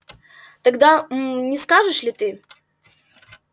тогда м не скажешь ли ты